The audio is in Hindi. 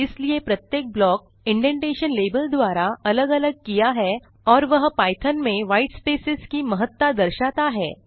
इसलिए प्रत्येक ब्लॉक इंडेंटेशन लेबल द्वारा अलग अलग किया है और वह पाइथॉन में white स्पेसेज की महत्ता दर्शाता है